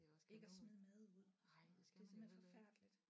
Ikke at smide mad ud det er simpelthen forfærdeligt